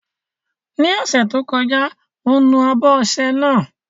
Ní ọ̀sẹ̀ tó kọjá, mo nu abọ́ ọṣẹ náà.